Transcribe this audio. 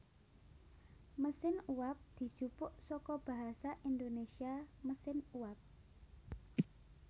Mesin uwab dijupuk saka basa Indonésia mesin uap